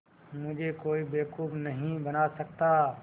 मुझे कोई बेवकूफ़ नहीं बना सकता